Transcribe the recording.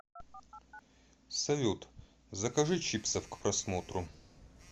салют закажи чипсов к просмотру